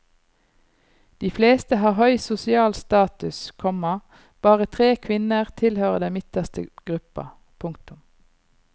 De fleste har høy sosial status, komma bare tre kvinner tilhører den midterste gruppa. punktum